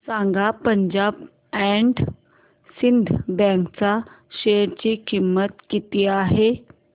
सांगा Punjab and Sind bank च्या share ची किंमत किती आहे